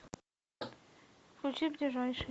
включи ближайший